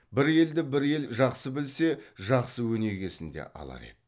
бір елді бір ел жақсы білсе жақсы өнегесін де алар еді